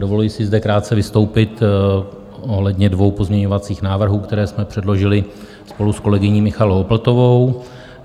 Dovoluji si zde krátce vystoupit ohledně dvou pozměňovacích návrhů, které jsme předložili spolu s kolegyní Michaelou Opltovou.